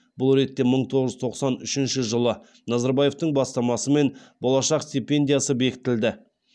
бұл ретте мың тоғыз жүз тоқсан үшінші жылы назарбаевтың бастамасымен болашақ стипендиясы бекітілді